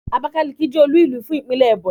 Abákáliki jẹ́ olú-ìlú fún ìpínlè Ẹ̀bọ̀nyì.